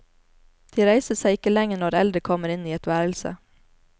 De reiser seg ikke lenger når eldre kommer inn i et værelse.